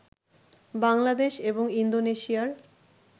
বাংলাদেশ এবং ইন্দোনেশিয়ার